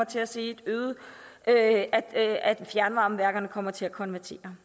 til at se at at fjernvarmeværkerne kommer til at konvertere